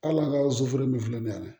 Hali an ka soforo min filɛ nin ye dɛ